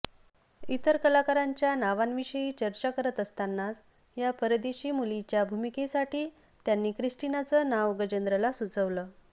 इतर कलाकारांच्या नावांविषयी चर्चा करत असतानाच या परदेशी मुलीच्या भूमिकेसाठी त्यांनी क्रिस्टिनाचं नाव गजेंद्रला सुचवलं